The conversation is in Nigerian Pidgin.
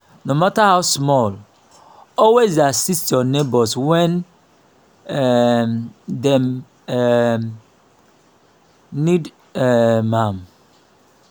no mata how small always dey assist yur neibor wen um dem um nid um am.